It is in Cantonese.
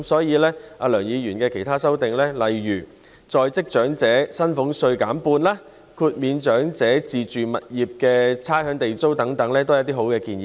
而梁議員的其他修訂，例如將在職長者薪俸稅減半，豁免長者就自住物業繳付差餉和地租等，都是好的建議。